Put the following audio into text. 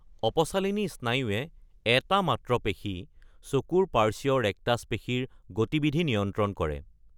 অপচালিনী স্নায়ুৱে এটা মাত্ৰ পেশী, চকুৰ পাৰ্শ্বীয় ৰেক্টাছ পেশীৰ গতিবিধি নিয়ন্ত্ৰণ কৰে।